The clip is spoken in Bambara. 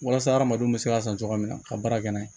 Walasa hadamadenw bɛ se ka san cogoya min na ka baara kɛ n'a ye